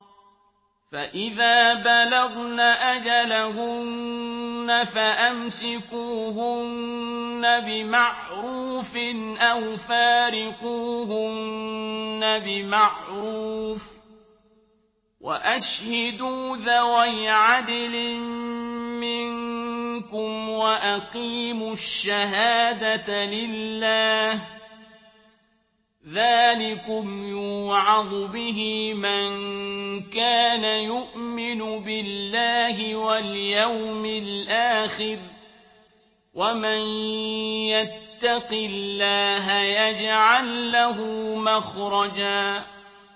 فَإِذَا بَلَغْنَ أَجَلَهُنَّ فَأَمْسِكُوهُنَّ بِمَعْرُوفٍ أَوْ فَارِقُوهُنَّ بِمَعْرُوفٍ وَأَشْهِدُوا ذَوَيْ عَدْلٍ مِّنكُمْ وَأَقِيمُوا الشَّهَادَةَ لِلَّهِ ۚ ذَٰلِكُمْ يُوعَظُ بِهِ مَن كَانَ يُؤْمِنُ بِاللَّهِ وَالْيَوْمِ الْآخِرِ ۚ وَمَن يَتَّقِ اللَّهَ يَجْعَل لَّهُ مَخْرَجًا